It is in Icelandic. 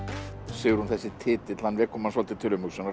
Sigrún þessi titill hann vekur mann svolítið til umhugsunar